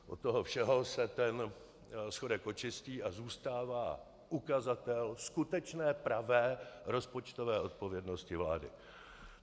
Od toho všeho se ten schodek očistí a zůstává ukazatel skutečné pravé rozpočtové odpovědnosti vlády.